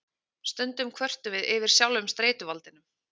Stundum kvörtum við yfir sjálfum streituvaldinum.